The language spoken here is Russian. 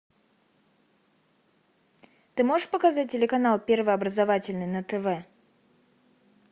ты можешь показать телеканал первый образовательный на тв